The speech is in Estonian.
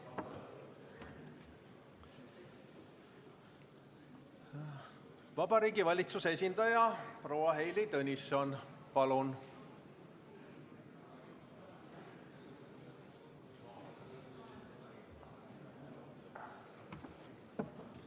Vabariigi Valitsuse esindaja proua Heili Tõnisson, palun!